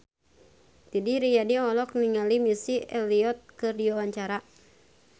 Didi Riyadi olohok ningali Missy Elliott keur diwawancara